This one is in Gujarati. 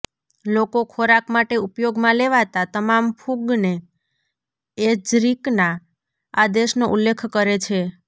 લોકો ખોરાક માટે ઉપયોગમાં લેવાતા તમામ ફૂગને એજરીકના આદેશનો ઉલ્લેખ કરે છે